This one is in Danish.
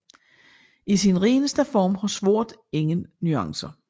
I sin reneste form har sort ingen nuancer